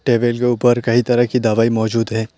ये मेज के ऊपर कई तरह की दवाई मौजूद है।